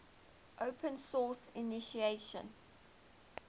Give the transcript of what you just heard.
open source initiative